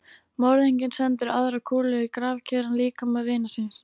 Morðinginn sendi aðra kúlu í grafkyrran líkama vinar síns.